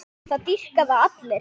Það dýrka það allir.